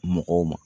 Mɔgɔw ma